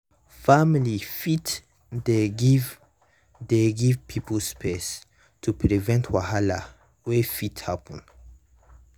family fit dey give dey give people space to prevent wahala wey fit happen.